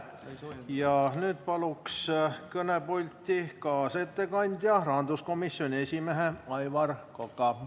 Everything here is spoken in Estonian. Ja nüüd palun kõnepulti kaasettekandja, rahanduskomisjoni esimehe Aivar Koka.